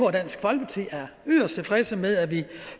at dansk folkeparti er yderst tilfreds med at vi